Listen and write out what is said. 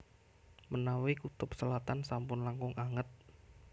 Menawi kutub selatan sampun langkung anget